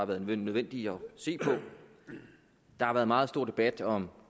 været nødvendigt at se på der har været meget stor debat om